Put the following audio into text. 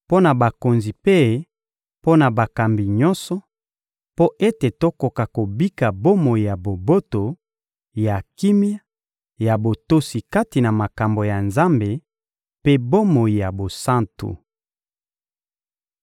mpo na bakonzi mpe mpo na bakambi nyonso, mpo ete tokoka kobika bomoi ya boboto, ya kimia, ya botosi kati na makambo ya Nzambe, mpe bomoi ya bosantu.